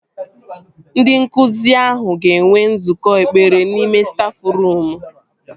Ndị nkụzi ahụ ga-enwe nzukọ ekpere n'ime stafruum